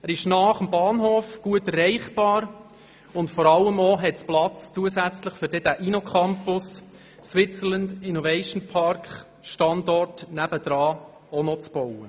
Er liegt nahe am Bahnhof, ist gut erreichbar und vor allem hat es zusätzlichen Platz, um den INNOCAMPUS «Switzerland Innovation Park» daneben auch noch zu bauen.